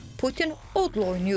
Putin odla oynayır.